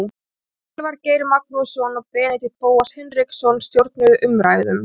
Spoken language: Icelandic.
Elvar Geir Magnússon og Benedikt Bóas Hinriksson stjórnuðu umræðum.